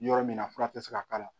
Yɔrɔ min na fura tɛ se ka k'a la